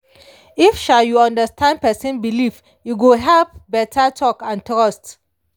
if um you understand person belief e go help better talk and trust.